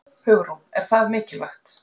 Hugrún: Er það mikilvægt?